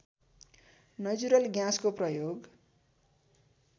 natural ग्याँसको प्रयोग